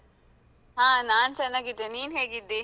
ಹಾ ನಾನ್ ಚನ್ನಾಗಿದ್ದೇನೆ? ನೀನ್ ಹೇಗಿದ್ದಿ?